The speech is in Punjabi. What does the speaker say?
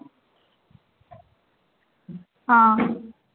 ਹਾਂ